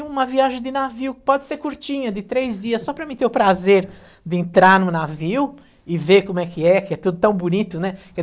E uma viagem de navio, pode ser curtinha, de três dias, só para mim ter o prazer de entrar no navio e ver como é que é, que é tudo tão bonito, né? Que